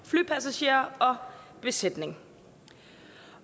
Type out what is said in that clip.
flypassagerer og besætning